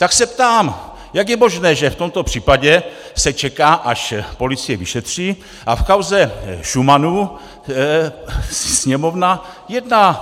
Tak se ptám, jak je možné, že v tomto případě se čeká, až policie vyšetří, a v kauze Šumanu Sněmovna jedná.